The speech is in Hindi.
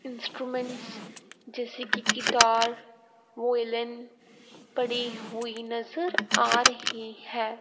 इंस्ट्रूमेंट्स जैसे की गिटार वोयलेन पड़ी हुईं नजर आ रही हैं।